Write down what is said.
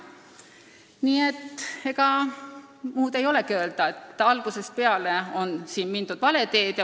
Nii et ega muud ei olegi öelda, kui et algusest peale on mindud vale teed.